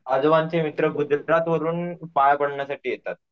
आजोबांचें मित्र गुजरात वरून पाया पडण्यासाठी येतात.